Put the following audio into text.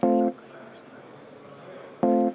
Aitäh!